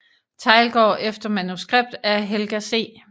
Theilgaard efter manuskript af Helga C